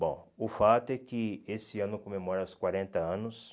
Bom, o fato é que esse ano comemora os quarenta anos.